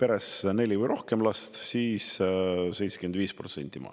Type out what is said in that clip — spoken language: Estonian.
peres on neli või rohkem last, siis –75%.